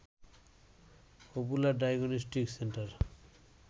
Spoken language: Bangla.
popular diagnostic centre